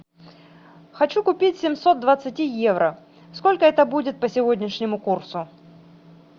хочу купить семьсот двадцати евро сколько это будет по сегодняшнему курсу